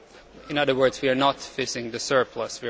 In other words, we are not fishing the surplus